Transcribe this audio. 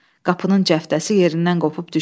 Qapının cəftəsi yerindən qopub düşdü.